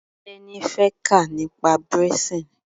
Teni fẹ́ kà nípa braising.